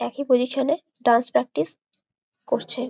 একই পজিশন -এ dance practice করছে ।